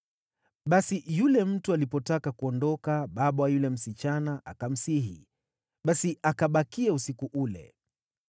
Basi yule mtu alipotaka kuondoka baba wa yule msichana akamsihi, basi akabaki usiku ule.